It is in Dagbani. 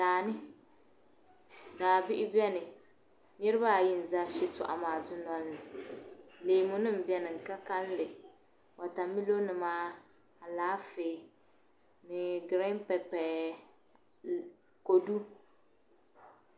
Daani daa bihi n biɛni niraba ayi n ʒɛ shitoɣu maa dundolini leemu nim biɛni di ka kanli wotamilo nima alaafee ni giriin pepper kodu